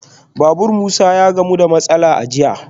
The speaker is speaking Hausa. Babur Musa ya gamu da matsala a jiya